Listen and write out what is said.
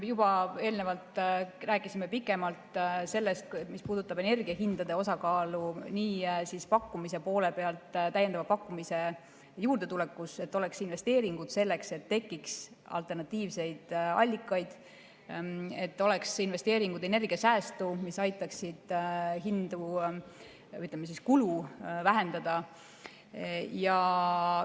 Juba eelnevalt rääkisime pikemalt sellest, mis puudutab energiahindade osakaalu nii pakkumise poole pealt, täiendava pakkumise juurdetulekust, et oleks investeeringud selleks, et tekiks alternatiivseid allikaid, et oleks investeeringud energiasäästu, mis aitaksid, ütleme, kulu vähendada.